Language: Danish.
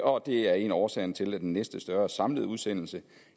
og det er en af årsagerne til at den næste større samlede udsendelse